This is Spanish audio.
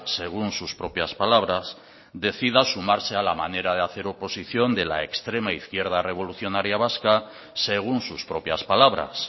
según sus propias palabras decida sumarse a la manera de hacer oposición de la extrema izquierda revolucionaria vasca según sus propias palabras